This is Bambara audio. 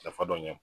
Nafa dɔ ɲɛ